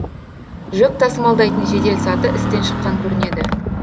жүк тасымалдайтын жеделсаты істен шыққан көрінеді